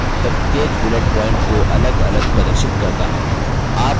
यह चुनाव प्रत्येक bullet प्वॉइंट को अलगअलग प्रदर्शित करता है